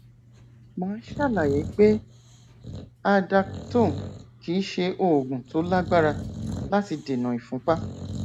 màá ṣàlàyé pé aldactone kìí ṣe oògùn tó lágbára láti dènà ìfúnpá